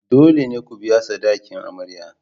Dole ne ku biya sadakin amarya.